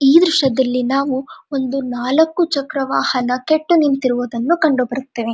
ಈ ದೃಶ್ಯದಲ್ಲಿ ನಾವು ಒಂದು ನಾಲಕ್ಕು ಚಕ್ರ ವಾಹನ ಕೆಟ್ಟು ನಿಂತಿರುವುದನ್ನು ಕಂಡುಬರುತ್ತದೆ.